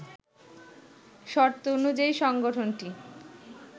শর্ত অনুযায়ী সংগঠনটি